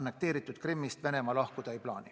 annekteeritud Krimmist Venemaa lahkuda ei plaani.